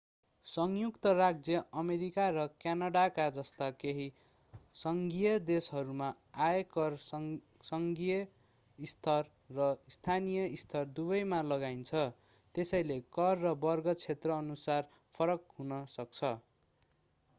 संयुक्त राज्य अमेरिका र क्यानाडा जस्ता केही सङ्घीय देशहरूमा आयकर सङ्घीय स्तर र स्थानीय स्तर दुवैमा लगाइन्छ त्यसैले दर र वर्ग क्षेत्रअनुसार फरक हुन सक्छ